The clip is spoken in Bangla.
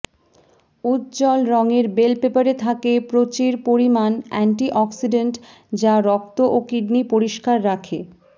উজ্দ্বল রঙের বেল পেপারে থাকে প্রচির পরিমাণ অ্যান্টিঅক্সিড্যান্ট যা রক্ত ও কিডনি পরিষ্কার রাখে